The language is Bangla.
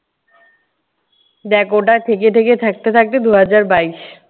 দেখ ওটা ঠেকে ঠেকে থাকতে থাকতে দুই হাজার বাইশ।